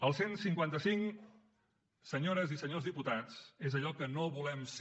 el cent i cinquanta cinc senyores i senyors diputats és allò que no volem ser